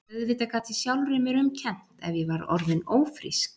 Auðvitað gat ég sjálfri mér um kennt ef ég var orðin ófrísk.